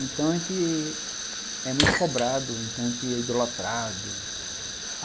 Então a gente é muito cobrado, a gente é idolatrado.